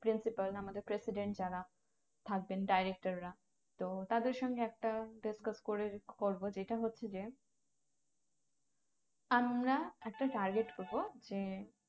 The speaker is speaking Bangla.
Principal আমাদের president যারা থাকবেন director রা তো তাদের সঙ্গে একটা discuss করে করবো যেটা হচ্ছে যে আমরা একটা target করবো যে